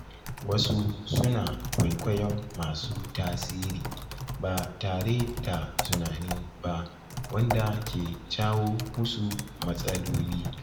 Wasu suna kwaikwayon masu tasiri ba tare da tunani ba, wanda ke jawo musu matsaloli.